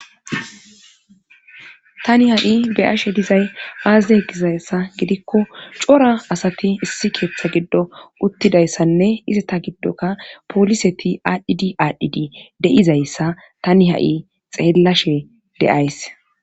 tani ha7i beyashe dizay aazide egizayssa gidikko cora asati issi keeththa giddo uttidayssanne izi ta giddoka pooliseti aadhdhidi aadhdhidi de7izayssa tani ha7i xeellashe deays